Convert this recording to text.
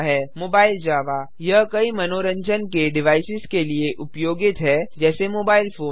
Mobile Java यह कई मंनोरजन के डिवाइसेस के लिए उपयोगित है जैसे मोबाइल फोन